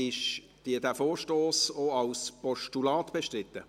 Ist dieser Vorstoss auch als Postulat bestritten?